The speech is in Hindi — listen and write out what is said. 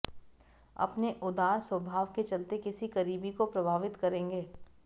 अपने उदार स्वभाव के चलते किसी करीबी को प्रभावित करेंगे